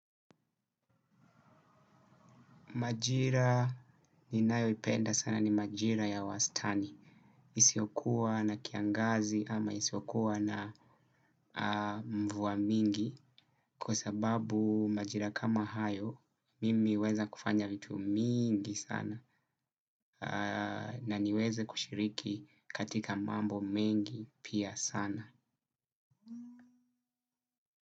Majira ninayoipenda sana ni majira ya wastani. Isiyokuwa na kiangazi ama isiyokuwa na mvua mingi kwa sababu majira kama hayo mimi huweza kufanya vitu mingi sana. Na niweze kushiriki katika mambo mengi pia sana.